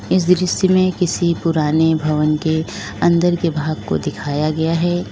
इस दृश्य में किसी पुराने भवन के अंदर के भाग को दिखाया गया है।